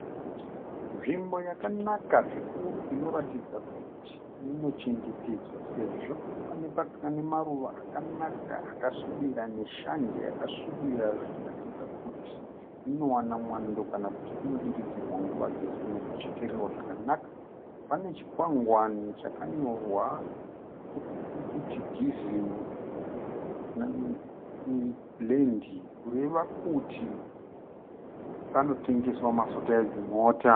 Nzvimbo yakanaka zvikuru inoratidza kuti inochengetedzwa sezvo pane muruva akanaka akasvibira neshanje yakasvibira zvichiratidza kuti inowana mwando kana kuti inodiridzirwa nguva dzose nekuchekererwa zvakanaka. Pane chikwangwani chakanyorwa kuti Diesel, Blend kureva kuti panotengeswa mafuta edzimota.